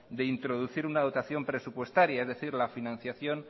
de introducir una dotación presupuestaria es decir la financiación